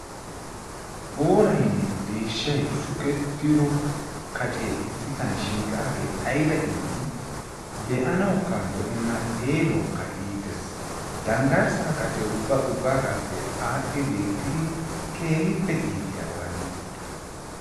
Booraynne deeshshay shukettido kacee issisan shiiqaagee ayba iiti. Be'anawukka lo"enna xeelawukka iitees. Danggarssaa kacee ubba ubbaagaappe aadhdhi beettidi keehippe iitiyaba hagee.